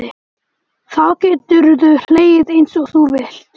Þá geturðu hlegið einsog þú vilt.